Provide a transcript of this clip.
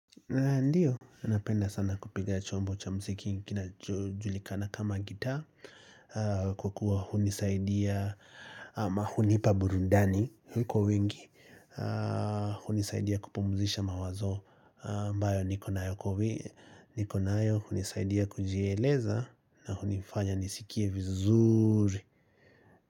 Na ndiyo, napenda sana kupiga chombo cha muziki kinachojulikana kama gitaa kwa kuwa hunisaidia ama hunipa burundani, kwa wingi hunisaidia kupumzisha mawazo ambayo niko nayo hunisaidia kujieleza na hunifanya nisikie vizuri.